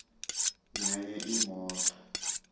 nenye imoto